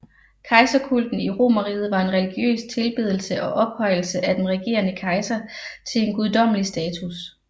Kejserkulten i Romerriget var en religiøs tilbedelse og ophøjelse af den regerende kejser til en guddommelig status